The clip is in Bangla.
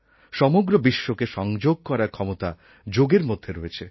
সমগ্র বিশ্বকে সংযোগ করার ক্ষমতা যোগের মধ্যে রয়েছে